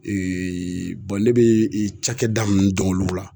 ne bɛ cakɛda min dɔn olu la